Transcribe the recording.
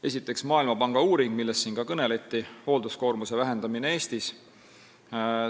Esiteks, Maailmapanga uuring, millest siin ka kõneldi, "Hoolduskoormuse vähendamine Eestis".